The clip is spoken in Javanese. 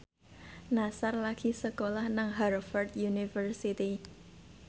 Nassar lagi sekolah nang Harvard university